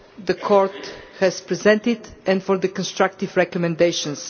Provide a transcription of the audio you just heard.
the Court has presented and for its constructive recommendations.